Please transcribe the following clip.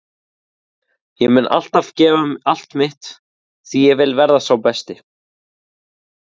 Ég mun alltaf gefa allt mitt því ég vil verða sá besti.